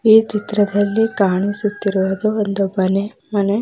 ಈ ಚಿತ್ರದಲ್ಲಿ ಕಾಣಿಸುತ್ತಿರುವುದು ಒಂದು ಮನೆ.